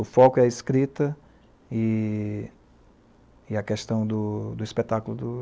O foco é a escrita e a questão do espetáculo do